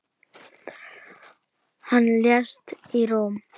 Hann lést í Róm.